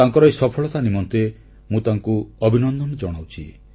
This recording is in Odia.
ତାଙ୍କର ଏହି ସଫଳତା ନିମନ୍ତେ ମୁଁ ତାଙ୍କୁ ଅଭିନନ୍ଦନ ଜଣାଉଛି